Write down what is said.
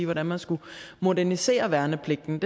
hvordan man skulle modernisere værnepligten